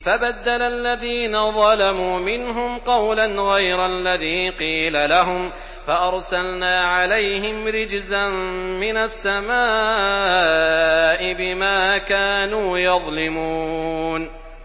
فَبَدَّلَ الَّذِينَ ظَلَمُوا مِنْهُمْ قَوْلًا غَيْرَ الَّذِي قِيلَ لَهُمْ فَأَرْسَلْنَا عَلَيْهِمْ رِجْزًا مِّنَ السَّمَاءِ بِمَا كَانُوا يَظْلِمُونَ